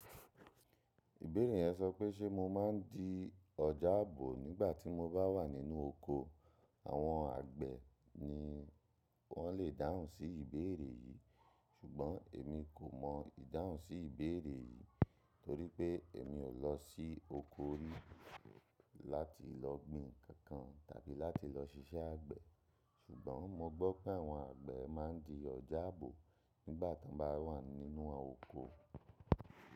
Ìbérè yẹn sọ pé ṣe mo má n di ọjà àbò nígbà tí mo bá wà nínú oko. Àwọn àgbẹ̀ ni wọ́n lè dáhùn sí ìbéèrè yìí. Ṣùgbọ́n èmi kò mọ ìdáhùn sí ìbéèrè yìí torí pé èmi ò lọ sí oko rí láti lọ gbìn nkankan tàbí láti lọ ṣiṣẹ́ àgbẹ̀. Ṣùgbọ́n mo gbọ́ pé àwọn àgbẹ̀ má n di ọjà àbò nígbà tí wọ́n bá wà nínú oko.